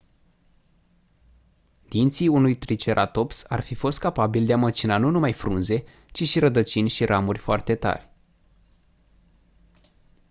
dinții unui triceratops ar fi fost capabili de a măcina nu numai frunze ci și rădăcini și ramuri foarte tari